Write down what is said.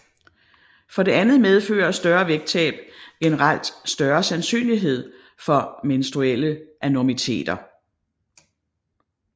For det andet medfører større vægttab generelt større sandsynlighed for menstruelle anormiteter